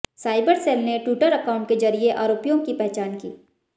cyber cell ने Twitter account के जरिए आरोपियों की पहचान की